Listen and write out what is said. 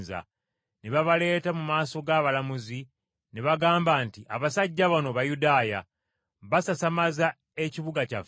Ne babaleeta mu maaso g’abalamuzi, ne bagamba nti, “Abasajja bano Bayudaaya, basasamaza ekibuga kyaffe